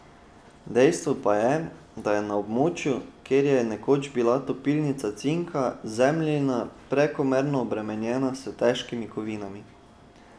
Dejstvo pa je, da je na območju, kjer je bila nekoč topilnica cinka, zemljina prekomerno obremenjena s težkimi kovinami.